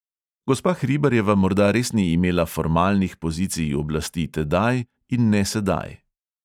Gospa hribarjeva morda res ni imela formalnih pozicij oblasti tedaj in ne sedaj.